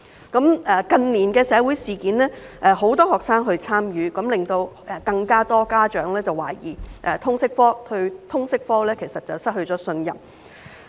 近年的社會事件，很多學生也有參與，這令更多家長懷疑通識科，對通識科失去信任。